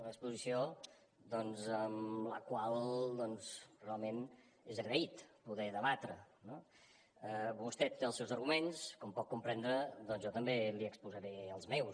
una exposició doncs amb la qual doncs realment és agraït poder debatre no vostè té els seus arguments com pot comprendre doncs jo també li exposaré els meus